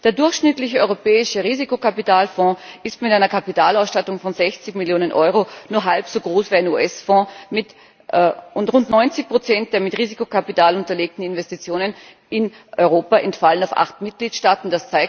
Der durchschnittliche europäische Risikokapitalfonds ist mit einer Kapitalausstattung von 60 Millionen Euro nur halb so groß wie ein US Fonds, und rund 90 der mit Risikokapital unterlegten Investitionen in Europa entfallen auf acht Mitgliedstaaten.